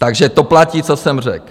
Takže to platí, co jsem řekl.